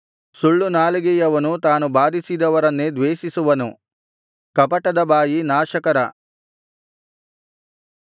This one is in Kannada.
ಸುಳ್ಳು ನಾಲಿಗೆಯವನು ತಾನು ಬಾಧಿಸಿದವರನ್ನೇ ದ್ವೇಷಿಸುವನು ಕಪಟದ ಬಾಯಿ ನಾಶಕರ